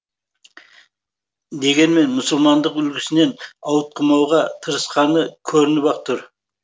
дегенмен мұсылмандық үлгісінен ауытқымауға тырысқаны көрініп ақ тұр